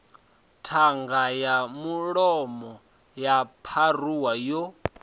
ṱhanga ya mulomo yo pharuwaho